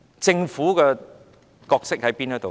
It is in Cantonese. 政府的角色是甚麼呢？